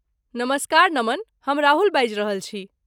नमस्कार, नमन! हम राहुल बाजि रहल छी।